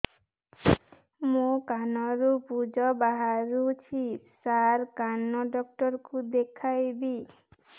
ମୋ କାନରୁ ପୁଜ ବାହାରୁଛି ସାର କାନ ଡକ୍ଟର କୁ ଦେଖାଇବି